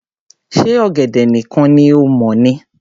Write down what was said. Ṣe ọ̀gẹ̀dẹ̀ nìkan ni o mọ̀ ni?